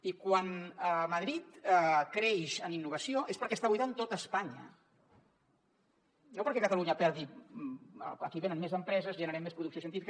i quan madrid creix en innovació és perquè està buidant tot espanya no perquè catalunya perdi aquí venen més empreses generem més producció científica